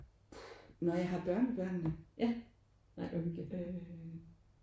Puh når jeg har børnebørne øh